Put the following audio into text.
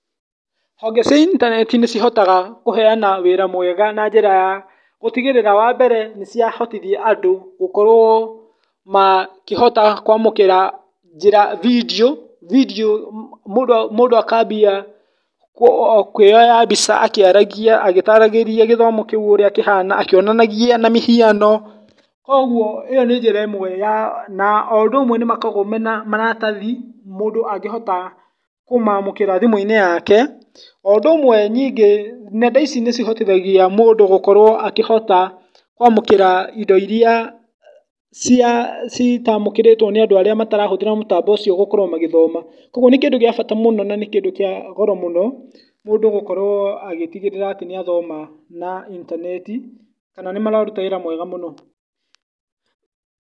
Honge cia intaneti nĩ cihotaga kũheana wĩra mwega na njĩra ya gũtigĩrĩra wa mbere, nĩ ciahotithia andũ gũkorwo makĩhota kwamũkĩra njĩra video video, mũndũ akaambia kwĩyoya mbica akĩaragia akĩtaragĩria gĩthomo kĩu ũrĩa kĩhana, akĩonanagia na mĩhiano, kũgwo ĩyo nĩ nĩ njĩra ĩmwe ya na ũndũ ũmwe nĩ makoragwo mena maratathi mũndũ angĩhota kũmamũkĩra thimũ-inĩ yake, o ũndũ ũmwe nenda ici nĩ cihotithagia mũndũ gũkorwo akĩhota kwamũkĩra indo iria cia , citamũkĩrĩtwo nĩ andũ arĩa matara hũthĩra mũtambo ũcio gũkorwo magĩthoma, kũgwo nĩ kĩndũ gĩa bata mũno na nĩ kĩndũ kĩa goro mũno mũndũ gũkorwo agĩtigĩrĩra atĩ nĩ athoma na intaneti, kana nĩ mararuta wĩra mwega mũno.